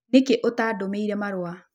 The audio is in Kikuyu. Nĩkĩ ũtandũmĩĩre marũa?